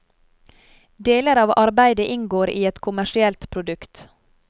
Deler av arbeidet inngår i et kommersielt produkt.